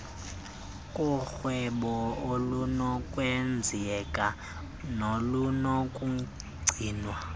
korhwebo olunokwenzeka nolunokugcinwa